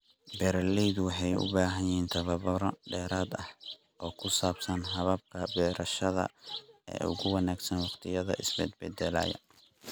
Beeraleydu waxay u baahan yihiin tababaro dheeraad ah oo ku saabsan hababka beerashada ee ugu wanaagsan waqtiyadan isbedbeddelaya.